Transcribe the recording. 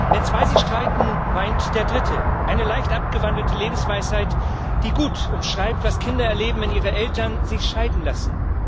Wenn zwei sich streiten, weint der Dritte eine leicht abgewandelte Lebensweisheit, die gut umschreibt, was Kinder erleben, wenn ihre Eltern sich scheiden lassen.